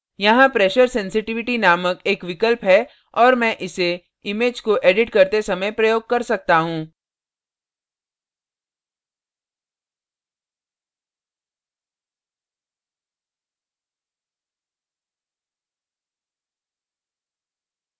यहाँ pressure sensitivity नामक एक विकल्प है और मैं इसे image को एडिट करते समय प्रयोग कर सकता हूँ अतः